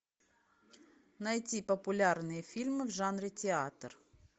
найти популярные фильмы в жанре театр